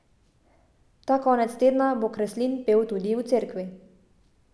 Ta konec tedna bo Kreslin pel tudi v cerkvi!